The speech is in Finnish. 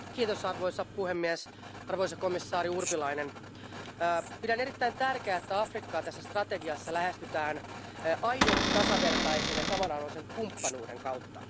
Arvoisa puhemies, arvoisa komissaari Urpilainen, pidän erittäin tärkeänä, että Afrikkaa tässä strategiassa lähestytään aidon tasavertaisen ja samanarvoisen kumppanuuden kautta.